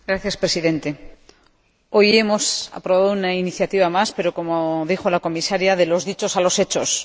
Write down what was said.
Señor Presidente, hoy hemos aprobado una iniciativa más, pero, como dijo la Comisaria, de los dichos a los hechos.